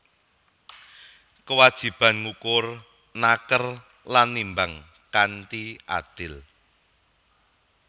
Kewajiban ngukur naker lan nimbang kanthi adil